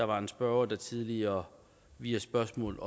var en spørger der tidligere via spørgsmål